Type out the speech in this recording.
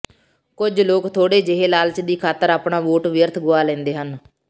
ਕੁਝ ਲੋਕ ਥੋੜੇ ਜਿਹੇ ਲਾਲਚ ਦੀ ਖਾਤਰ ਆਪਣਾ ਵੋਟ ਵਿਅੱਰਥ ਗੁਆ ਲੈਂਦੇ ਹਨ